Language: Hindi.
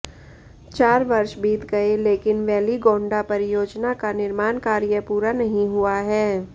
चार वर्ष बीत गए लेकिन वेलिगोंडा परियोजना का निर्माण कार्य पूरा नहीं हुआ है